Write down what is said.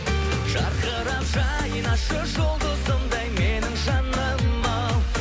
жарқырап жайнашы жұлдызымдай менің жаным ау